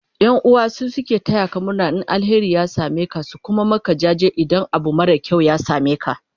ƴan'uwa su suke tayaka murna in alheri ya sameka su Kuma Maka jaji idan Abu mara kyau ya sameka